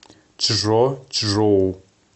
чжочжоу